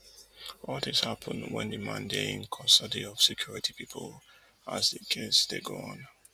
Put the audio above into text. all dis happun wen di man dey in custody of security pipu as di case dey go on